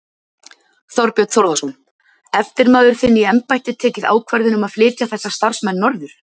Þorbjörn Þórðarson: Eftirmaður þinn í embætti tekið ákvörðun um að flytja þessa starfsmenn norður?